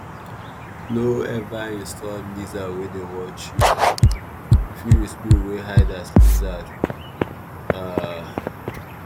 no ever insult lizard wey dey watch you — e fit be spirit wey hide as lizard. um